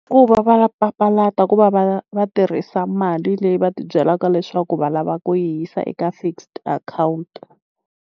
Ku va va papalata ku va va va tirhisa mali leyi va ti byelaka leswaku va lava ku yi yisa eka fixed account.